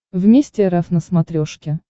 вместе рф на смотрешке